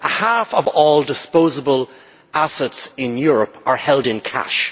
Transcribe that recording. Half of all disposable assets in Europe are held in cash.